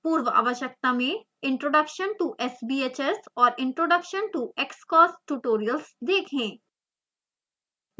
पूर्ववाश्यकता में introduction to sbhs और introduction to xcos tutorials देखें